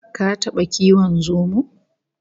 Ka taba kiwon zomo?